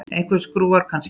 Einhver skrúfa, kannski.